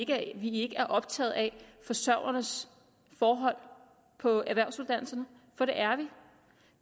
at vi ikke er optaget af forsørgernes forhold på erhvervsuddannelserne for det er